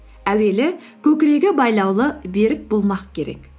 әуелі көкірегі байлаулы берік болмақ керек